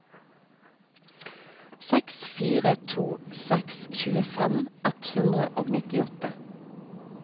seks fire to seks tjuefem ett hundre og nittiåtte